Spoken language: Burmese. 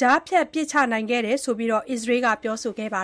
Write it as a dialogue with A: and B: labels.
A: ကြားဖြတ် ပစ်ချနိုင်ခဲ့တယ်လို့လည်း အစ္စရေးက ပြောဆိုခဲ့တာပါ